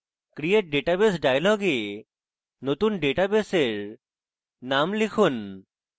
create database dialog এ নতুন database in name লিখুন